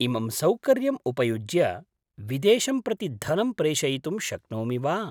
इमं सौकर्य्यम् उपयुज्य विदेशं प्रति धनं प्रेषयितुं शक्नोमि वा?